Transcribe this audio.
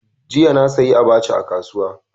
Jiya na saya abacha a kasuwa.